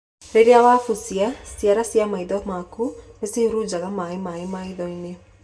Rĩrĩa wabucia, ciara cia maitho maku nĩcihurujaga maĩ maĩ maitho-inĩ.